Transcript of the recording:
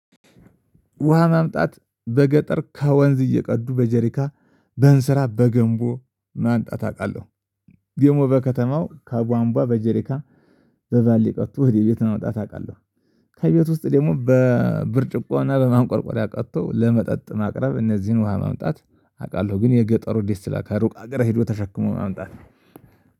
ውሃ ማምጣት በገጠር ከወንዝ እየቀዱ በጀሪካን በእንስራ በገንቦ ማምጣት አውቃለሁ። ደግሞ በከተማው ከቧንቧ በጄሪካን በባልዲ ቀድቶ ወደ ቤት ማውጣት አውቃለሁ። ከቤት ውስጥ ደግሞ በብርጭቆና በማንቆርቆሪያ ቀድቶ ለመጠጥ ማቅረብ እነዚህን ውሃ ማምጣት አውቃለሁ ግን የገጠሩ ደስ ይላል ሩቅ ሀገር ሄዶ ተሸክሞ ማምጣት ነው።